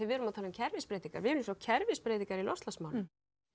við erum að tala um kerfisbreytingar við erum sjá kerfisbreytingar í loftslagsmálum